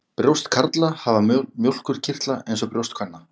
Brjóst karla hafa mjólkurkirtla eins og brjóst kvenna.